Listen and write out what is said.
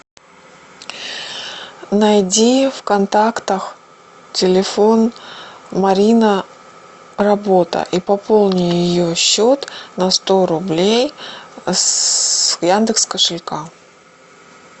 найди в контактах телефон марина работа и пополни ее счет на сто рублей с яндекс кошелька